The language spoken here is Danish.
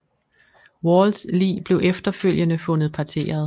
Walls lig blev efterfølgende fundet parteret